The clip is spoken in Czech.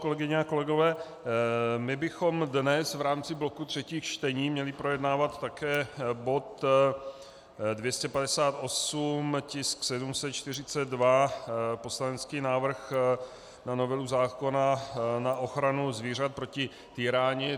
Kolegyně a kolegové, my bychom dnes v rámci bloku třetích čtení měli projednávat také bod 258, tisk 742, poslanecký návrh na novelu zákona na ochranu zvířat proti týrání.